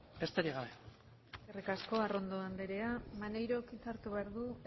besterik gabe eskerrik asko arrondo andrea maneirok hitza hartu behar du